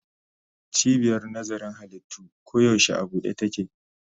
Cibiyar nazarin halittu koyaushe a buɗe take.